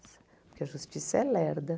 porque a justiça é lerda.